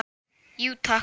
Jú takk